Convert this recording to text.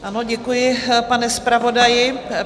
Ano, děkuji, pane zpravodaji.